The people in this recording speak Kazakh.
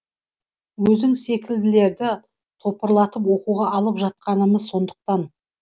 өзің секілділерді топырлатып оқуға алып жатқанымыз сондықтан